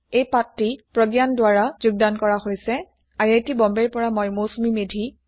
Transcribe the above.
মই অমল ব্ৰহমাঙ্কৰ sign off কৰিছো